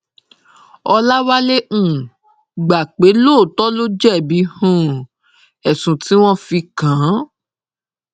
ọlọwálé um gbà pé lóòtọ ló jẹbi um ẹsùn tí wọn fi kàn án